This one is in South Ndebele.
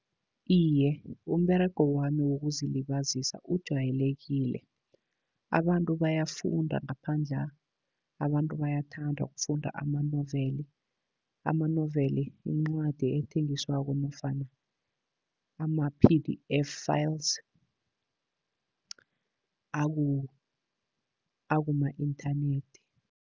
Iye, umberego wami wokuzilibazisa ujwayelekile. Abantu bayafunda ngaphandla', abantu bayathanda ukufunda amanoveli, amanoveli, incwadi ethengiswako nofana ama-P_D_F files akuma-inthanethi.